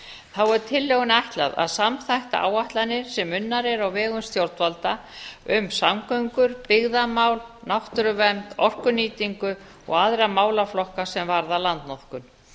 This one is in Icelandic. þá er tillögunni ætlað að samþætta áætlanir sem unnar eru á vegum stjórnvalda um samgöngur byggðamál náttúruvernd orkunýtingu og aðra málaflokka sem varða landnotkun